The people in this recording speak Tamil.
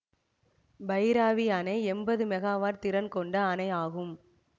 பைராபி அணை எம்பது மெகாவாட் திறன் கொண்ட அணை ஆகும்